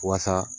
Waasa